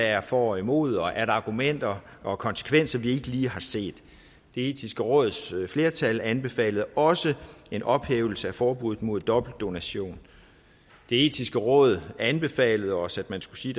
er for og imod og er argumenter og konsekvenser vi ikke lige har set det etiske råds flertal anbefalede også en ophævelse af forbuddet mod dobbeltdonation det etiske råd anbefalede os at man skulle sige